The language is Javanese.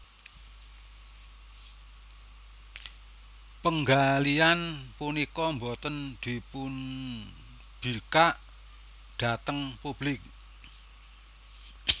Penggalian punika boten dipunbikak dhateng publik